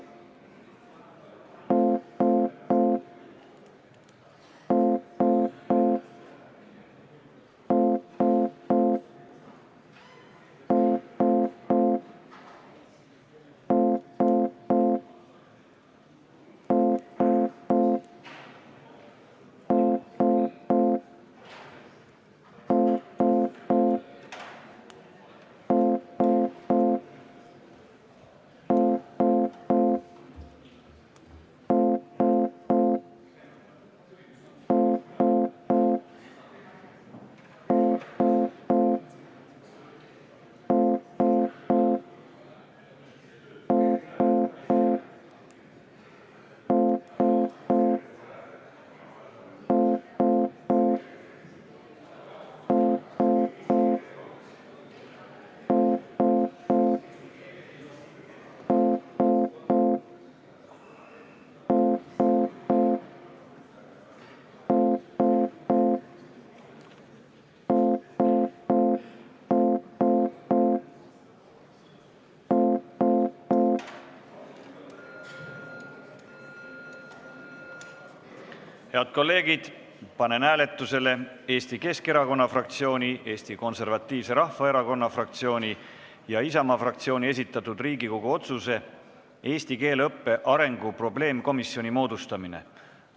Head kolleegid, panen hääletusele Riigikogu otsuse "Eesti keele õppe arengu probleemkomisjoni moodustamine" eelnõu.